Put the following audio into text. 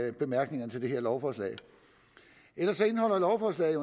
i bemærkningerne til det her lovforslag ellers indeholder lovforslaget